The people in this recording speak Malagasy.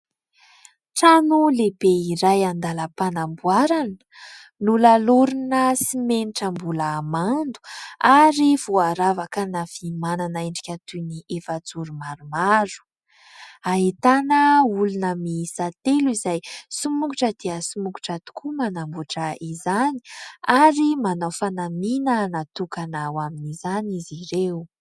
Trano lehibe iray an-dalam-panamboarana, nolalorina simenitra mbola mando ary voaravaka vý manana endrika toy ny efajoro maromaro. Ahitana olona miisa telo izay somokotra dia somokotra tokoa manamboatra izany ary manao fanamiana natokana ho amin'izany izy ireo.